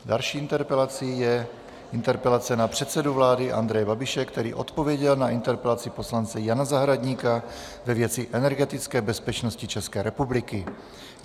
Další interpelací je interpelace na předsedu vlády Andreje Babiše, který odpověděl na interpelaci poslance Jana Zahradníka ve věci energetické bezpečnosti České republiky.